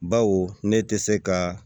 Baw ne tɛ se ka